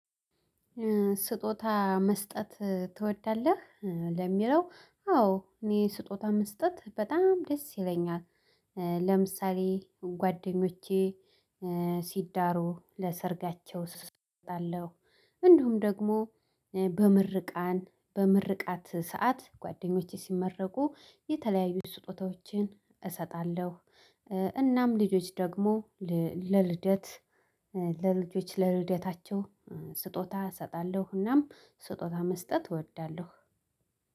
ስጦታ መስጠት ትወዳለህ ለሚለው አዎ እኔ ስጦታ መስጠት በጣም ደስ ይለኛል። ለምሳሌ ጓደኞቼ ሲዳሩ ለሰርጋቸው ሰጣለው። እንድሁም ደግሞ በምርቃን በምርቃት ሰዓት ጓደኞቼ ሲመረቁ የተለያዩ ስጦታዎችን እሰጣለሁ። እናም ልጆች ደግሞ ለልደት ለልጆች ለልደታቸው ስጦታ እሰጣለሁ። እናም ስጦታ መስጠት እወዳለሁ።